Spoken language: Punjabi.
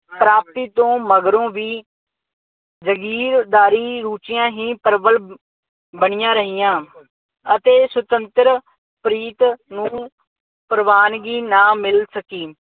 ਪ੍ਰਾਪਤੀ ਤੋਂ ਮਗਰੋਂ ਵੀ ਜਾਗੀਰਦਾਰੀ ਰੁਚੀਆਂ ਹੀ ਪ੍ਰਬਲ ਬਣੀਆਂ ਰਹੀਆਂ ਅਤੇ ਸੁਤੰਤਰ ਪ੍ਰੀਤ ਨੂੰ ਪ੍ਰਵਾਨਗੀ ਨਾ ਮਿਲ ਸਕੀ।